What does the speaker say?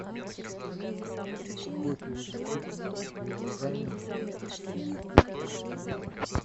какой сегодня курс гуарани к сингапурскому доллару